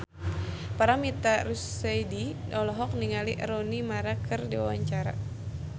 Paramitha Rusady olohok ningali Rooney Mara keur diwawancara